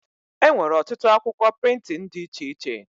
Enwere ọtụtụ akwụkwọ prịntịn dị iche iche